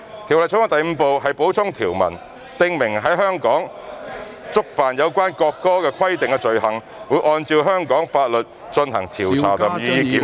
《條例草案》第5部是"補充條文"，訂明在香港觸犯有關國歌的規定的罪行，會按照香港法律進行調查及予以檢控。